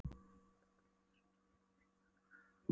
Þá tók til máls rektor Háskólans próf. Alexander Jóhannesson.